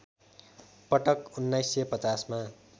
पटक १९५० मा